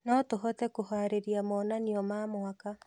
No tũhote kũharĩrĩria monanio ma mwaka.